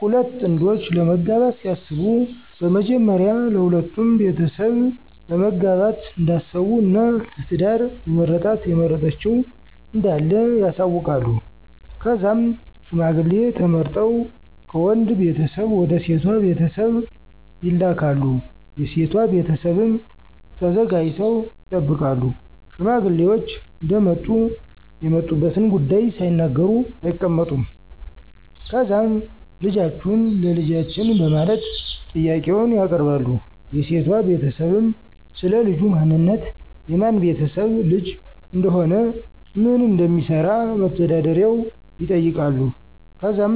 ሁለት ጥንዶች ለመጋባት ሲያስቡ በመጀመሪያ ለሁለቱም ቤተሰብ ለማጋባት እንዳሰቡ እና ለ ትዳር የመረጣት(የመረጠችዉ) እንዳለ ያሳዉቃሉ. ከዛም ሽማግሌ ተመርጠው ከወንድ ቤተሰብ ወደ ሴቷ ቤተሰብ ይልካሉ .የሴቷ ቤተሰብም ተዘጋጅተው ይጠብቃሉ። ሽማግሌዎች እንደመጡ የመጡበትን ጉዳይ ሳይናገሩ አይቀመጡም። ከዛም ልጃችሁን ለ ልጃችን በማለት ጥያቄውን ያቀርባሉ .የሴቷ ቤተሰብም, ስለ ልጁ ማንነት፣ የማን ቤተሰብ ልጅ እንደሆነ፣ ምን እንደሚሰራ(መተዳደሪያው)ይጠይቃሉ .ከዛም